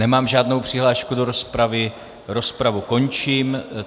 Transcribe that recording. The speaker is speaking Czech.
Nemám žádnou přihlášku do rozpravy, rozpravu končím.